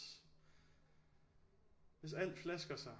Hvis alt flasker sig